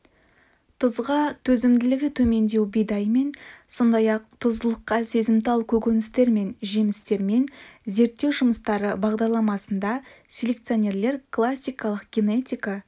тұзға төзімділігі төмендеу бидаймен сондай-ақ тұздылыққа сезімтал көкөністер мен жемістермен зерттеу жұмыстары бағдарламасында селекционерлер классикалық генетика